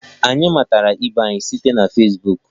Anyị matara ibe anyị site na Fesbuk.